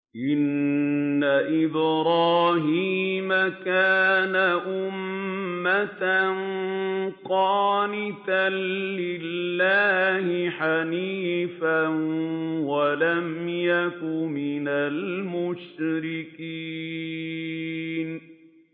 إِنَّ إِبْرَاهِيمَ كَانَ أُمَّةً قَانِتًا لِّلَّهِ حَنِيفًا وَلَمْ يَكُ مِنَ الْمُشْرِكِينَ